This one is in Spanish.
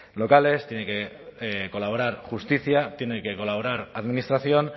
locales tiene que colaborar justicia tiene que colaborar administración